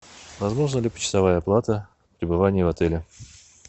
возможна ли почасовая оплата пребывания в отеле